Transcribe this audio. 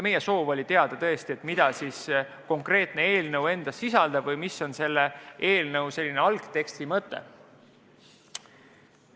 Meie soov oli teada saada, mida too konkreetne eelnõu sisaldab või mis on selle eelnõu algteksti mõte.